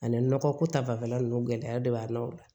Ani nɔgɔ ko ta fanfɛla nunnu gɛlɛya de b'a la o la